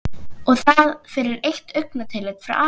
Og það fyrir eitt augnatillit frá Ara?